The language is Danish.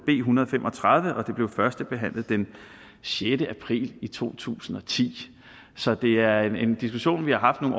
en hundrede og fem og tredive og det blev førstebehandlet den sjette april to tusind og ti så det er en diskussion vi har haft nogle